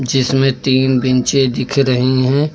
जिसमें तीन बेंचे दिख रही है।